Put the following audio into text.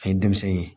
A ye denmisɛn ye